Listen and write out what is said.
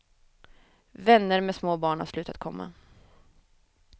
Vänner med små barn har slutat komma.